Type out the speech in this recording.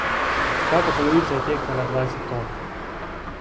Vsaka polovica je tehtala dvajset ton.